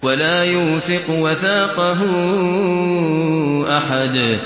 وَلَا يُوثِقُ وَثَاقَهُ أَحَدٌ